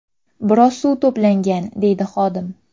Biroz suv to‘plangan”, deydi xodim.